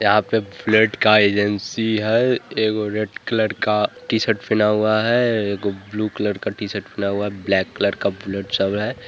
यहाँ पे फ्लड का एजेंसी है एगो रेड कलर का टीशर्ट पहना हुआ है एक ब्लू कलर का टी शर्ट पहना हुआ है ब्लैक कलर का